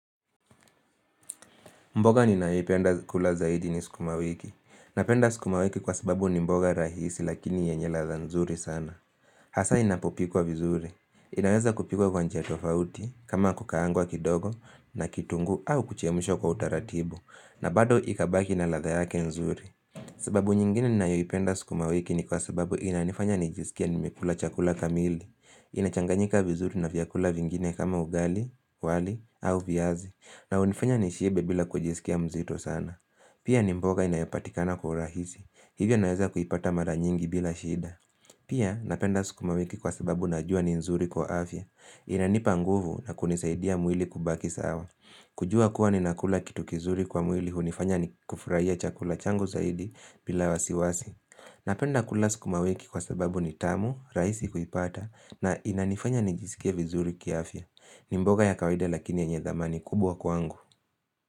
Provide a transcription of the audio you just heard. Mboga ninayoipenda kula zaidi ni sukumawiki. Napenda sukumawiki kwa sababu ni mboga rahisi lakini yenye latha nzuri sana. Hasa inapopikwa vizuri. Inaweza kupikwa kwa njia tofauti kama kukaangwa kidogo na kitungu au kuchemshwa kwa utaratibu. Na bado ikabaki na latha yake nzuri. Sababu nyingine ninayoipenda sukumawiki ni kwa sababu inanifanya nijisikie nimekula chakula kamili. Inachanganyika vizuri na vyakula vingine kama ugali, wali au viazi. Na hunifanya nishiebe bila kujisikia mzito sana Pia ni mboga inayopatikana kwa rahisi Hivyo naeza kuipata mara nyingi bila shida Pia napenda sukuma wiki kwa sababu najua ni nzuri kwa afya Inanipa nguvu na kunisaidia mwili kubaki sawa kujua kuwa ni nakula kitu kizuri kwa mwili unifanya kufurahia chakula changu zaidi bila wasiwasi Napenda kula sukuma wiki kwa sababu ni tamu, raisi kuipata na inanifanya nijisikia vizuri kia afya ni mboga ya kawaida lakini yenye dhamani kubwa kwangu.